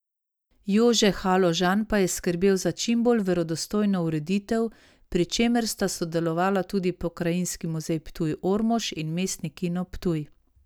Jože Haložan pa je skrbel za čimbolj verodostojno ureditev, pri čemer sta sodelovala tudi Pokrajinski muzej Ptuj Ormož in Mestni kino Ptuj.